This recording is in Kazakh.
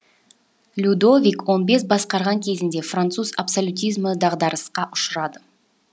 людовик он бес басқарған кезеңде француз абсолютизмі дағдарысқа ұшырады